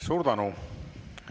Suur tänu!